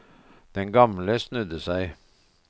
Den gamle snudde seg.